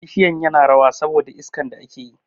Bishiyan yana rawa sabi da iskan da ake yi